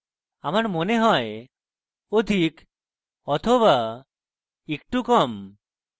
আমার মনে হয় অধিক বা একটু কম